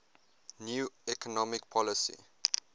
new economic policy